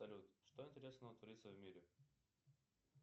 салют что интересного творится в мире